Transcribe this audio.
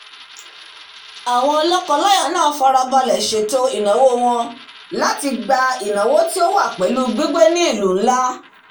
àwọn lọ́kọ láyà náà farabalẹ̀ sètò ìlànà ìnáwó wọn láti gba ìnáwó tí ó wá pẹ̀lú gbígbé ní ìlú nlá